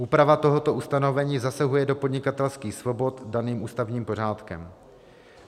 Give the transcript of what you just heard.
Úprava tohoto ustanovení zasahuje do podnikatelských svobod daných ústavním pořádkem.